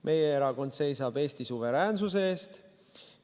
Meie erakond seisab Eesti suveräänsuse eest.